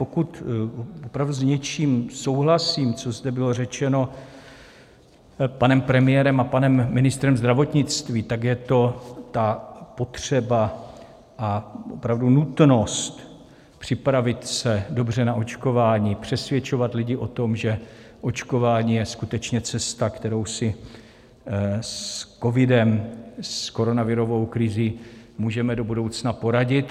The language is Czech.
Pokud opravdu s něčím souhlasím, co zde bylo řečeno panem premiérem a panem ministrem zdravotnictví, tak je to ta potřeba a opravdu nutnost připravit se dobře na očkování, přesvědčovat lidi o tom, že očkování je skutečně cesta, kterou si s covidem, s koronavirovou krizí můžeme do budoucna poradit.